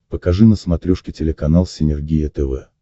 покажи на смотрешке телеканал синергия тв